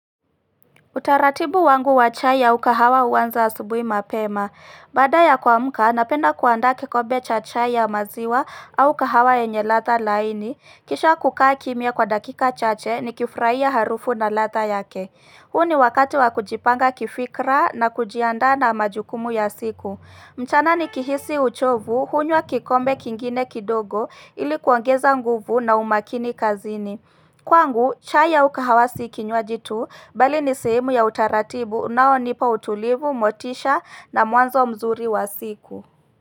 Utaratibu wangu wa chaya au kahawa uanza asubuhi mapema. Baada ya kumka napenda kuanda kikombe cha chai ya maziwa au kahawa yenye radha laini. Kisha kukaa kimya kwa dakika chache nikifurahia harufu na radha yake. Huo ni wakati wa kujipanga kifikra na kujianda na majukumu ya siku. Mchana nikihisi uchovu, hunywa kikome kingine kidogo ili kuongeza nguvu na umakini kazini. Kwangu, chai au kahawa si kinywaji tu, bali ni sehemu ya utaratibu, unaonipa utulivu, motisha na mwanzo mzuri wa siku.